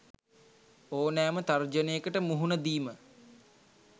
ඕනෑම තර්ජනයකට මුහුණ දීම